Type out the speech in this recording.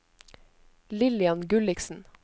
Lillian Gulliksen